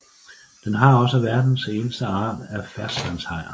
Den har også verdens eneste art at ferskvandshajer